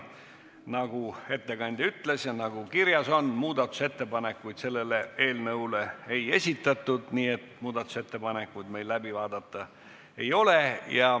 Nagu ettekandja ütles ja nagu kirjas on, muudatusettepanekuid selle eelnõu kohta ei esitatud, nii et muudatusettepanekuid meil läbi vaadata ei ole.